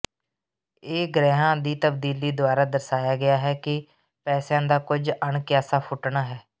ਇਹ ਗ੍ਰਹਿਆਂ ਦੀ ਤਬਦੀਲੀ ਦੁਆਰਾ ਦਰਸਾਇਆ ਗਿਆ ਹੈ ਕਿ ਪੈਸਿਆਂ ਦਾ ਕੁਝ ਅਣਕਿਆਸਾ ਫੁੱਟਣਾ ਹੈ